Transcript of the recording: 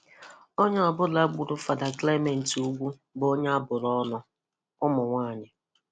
Onye ọbụla gburu Fada Clement Ugwu bụ onye abụrụ ọnụ - Ụmụnwaanyi.